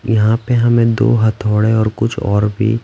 यहाँ पे हमें दो हथोड़े और कुछ और भी--